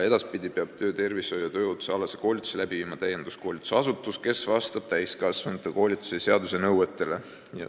Edaspidi peab töötervishoiu- ja tööohutuskoolituse läbi viima täienduskoolitusasutus, kes vastab täiskasvanute koolituse seaduse nõuetele.